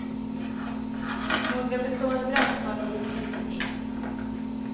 Några bestående brännskador vill vi inte ge.